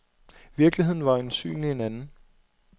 Virkeligheden var øjensynlig en anden.